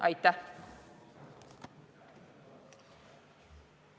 Aitäh!